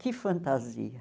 Que fantasia.